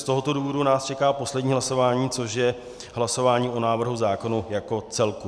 Z tohoto důvodu nás čeká poslední hlasování, což je hlasování o návrhu zákona jako celku.